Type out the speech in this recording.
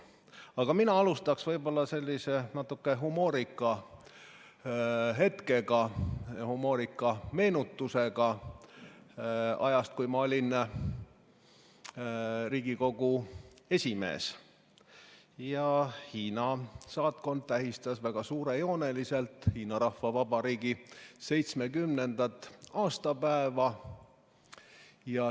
Aga mina alustaksin sellise natuke humoorika hetkega, humoorika meenutusega ajast, kui ma olin Riigikogu esimees ja Hiina saatkond tähistas väga suurejooneliselt Hiina Rahvavabariigi 70. aastapäeva.